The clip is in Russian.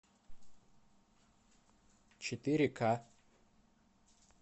четыре ка